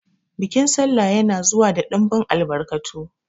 Bikin sallah ya na zuwa da ɗinbin albarkatu